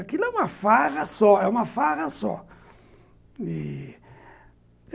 Aquilo é uma farra só, é uma farra só e